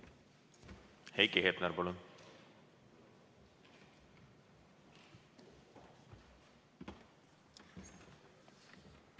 Heiki Hepner, palun!